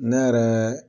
Ne yɛrɛ